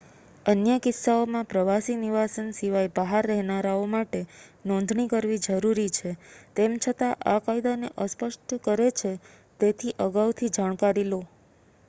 અન્ય કિસ્સાઓમાં પ્રવાસી નિવાસન સિવાય બહાર રહેનારાઓ માટે નોંધણી કરવી જરૂરી છે તેમ છતાં આ કાયદાને અસ્પષ્ટ કરે છે તેથી અગાઉથી જાણકારી લો